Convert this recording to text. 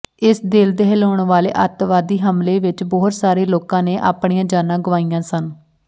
ਇਸ ਦਿਲ ਦਹਿਲਾਉਣ ਵਾਲੇ ਅੱਤਵਾਦੀ ਹਮਲੇ ਵਿੱਚ ਬਹੁਤ ਸਾਰੇ ਲੋਕਾਂ ਨੇ ਆਪਣੀਆਂ ਜਾਨਾਂ ਗੁਆਈਆਂ ਸਨ